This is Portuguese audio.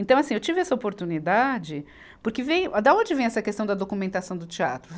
Então assim, eu tive essa oportunidade porque veio, da onde vem essa questão da documentação do teatro?